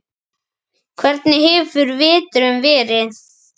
Björn: Hvernig hefur veturinn verið?